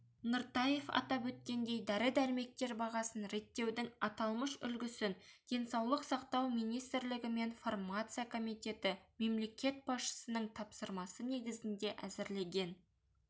нұртаев атап өткендей дәрі-дәрмектер бағасын реттеудің аталмыш үлгісін денсаулық сақтау министрлігі мен фармация комитеті мемлекет басшысының тапсырмасы негізінде әзірлеген